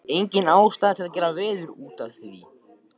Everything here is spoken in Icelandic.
Engin ástæða til að gera veður út af því.